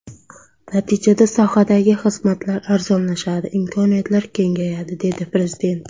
Natijada sohadagi xizmatlar arzonlashadi, imkoniyatlar kengayadi, dedi Prezident.